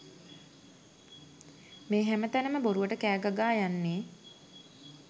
මේ හැම තැනම බොරුවට කෑ ගගා යන්නේ?